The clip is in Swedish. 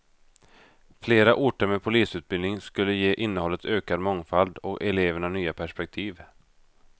Flera orter med polisutbildning skulle ge innehållet ökad mångfald och eleverna nya perspektiv.